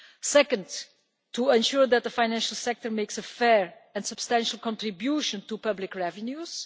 second, to ensure that the financial sector makes a fair and substantial contribution to public revenues